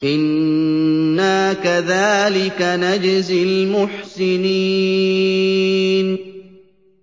إِنَّا كَذَٰلِكَ نَجْزِي الْمُحْسِنِينَ